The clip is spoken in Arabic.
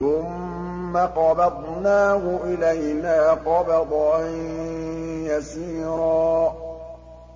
ثُمَّ قَبَضْنَاهُ إِلَيْنَا قَبْضًا يَسِيرًا